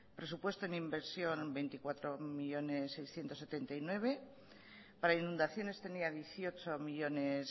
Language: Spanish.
presupuesto en inversión veinticuatro millónes seiscientos setenta y nueve mil para inundaciones tenía dieciocho millónes